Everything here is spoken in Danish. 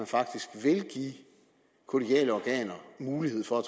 faktisk vil give kollegiale organer mulighed for at